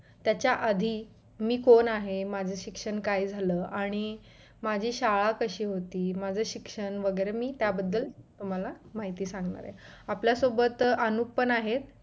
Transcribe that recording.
त्याच्या आधी मी कोण आहे माझं शिक्षण काय झाल आणि माझी शाळा कशी होती माझं शिक्षण वगैरे मी त्याबद्दल तुम्हाला माहिती सांगणार आहे आपल्यासोबत अनुप पण आहेत